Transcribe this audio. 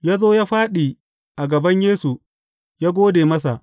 Ya zo ya fāɗi a gaban Yesu, ya gode masa.